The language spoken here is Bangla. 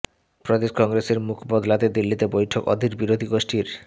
প্রদেশ কংগ্রেসের মুখ বদলাতে দিল্লিতে বৈঠক অধীর বিরোধী গোষ্ঠীর